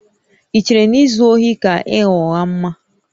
Ì chere na izu ohi ka ịgha ụgha mma?